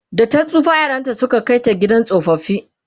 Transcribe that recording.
data tsufa yaranta Suka Kai ta gidan tsofaffi